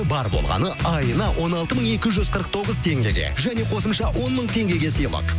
бар болғаны айына он алты мың екі жүз қырық тоғыз теңгеге және қосымша он мың теңгеге сыйлық